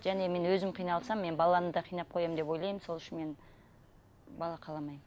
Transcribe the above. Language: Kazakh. және мен өзім қиналсам мен баланы қинап қоямын деп ойлаймын сол үшін мен бала қаламаймын